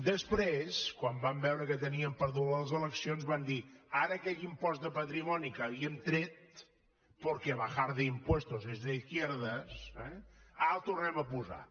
després quan van veure que tenien perdudes les eleccions van dir aquell impost de patrimoni que havíem tret perquè bajar impuestos es de izquierdas eh ara el tornarem a posar